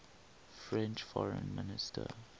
french foreign minister